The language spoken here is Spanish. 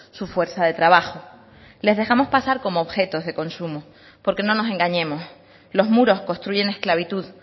su fuerza de trabajo les dejamos pasar como objetos de consumo porque no nos engañemos los muros construyen esclavitud